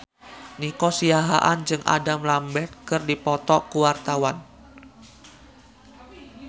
Nico Siahaan jeung Adam Lambert keur dipoto ku wartawan